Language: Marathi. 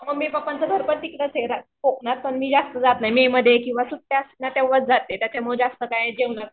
मम्मी पप्पांचं घर पण तिकडेच आहे कोकणात पण मी जास्त जात नाही मे मध्ये किंवा सुट्ट्या असल्यावर जस्ट त्याच्यामुळं जास्त काय जेवण